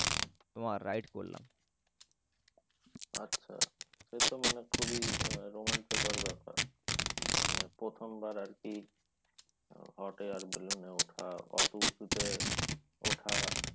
তোমার ride করলাম। আচ্ছা। সে তো মানে খুবই রোমাঞ্চকর ব্যাপার। মানে প্রথমবার আর কি hot air balloon এ ওঠা অত উঁচুতে ওঠা